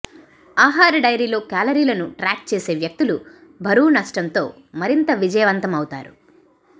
ఆహార డైరీలో కేలరీలను ట్రాక్ చేసే వ్యక్తులు బరువు నష్టంతో మరింత విజయవంతం అవుతారు